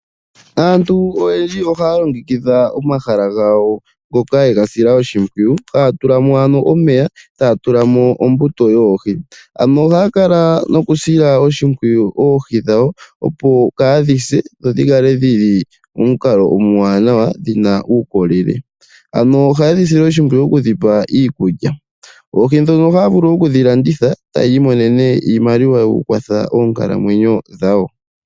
Aantu oyendji ohaya longekidha omahala gawo ngoka yega sila oshimpwiyu haya tulamo ano omeya etaya tulamo ombuto yoohi, ano ohaya kala nokusila oshimpwiyu oohi dhawo opo kaadhi se dho dhikale dhili momukalo omwaanawa dhina uukolele, ano oha yedhi sile oshimpwiyu okudhipa ikulya, oohi ndho oha ya vulu okudhi landiha etay imonene iimaliwa yoku kwatha oonkalo dhawo.